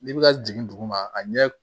N'i bɛ ka jigin duguma a ɲɛ